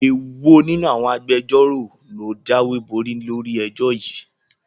Èwo nínú àwọn Agbẹjọ́rò ló jáwéborí lórí ẹjọ́ yìí?